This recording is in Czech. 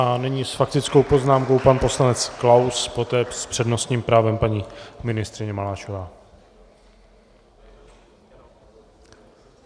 A nyní s faktickou poznámkou pan poslanec Klaus, poté s přednostním právem paní ministryně Maláčová.